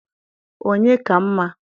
onye ka mma?